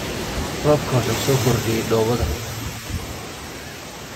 Roobku wuxuu soo kordhiyey dhoobada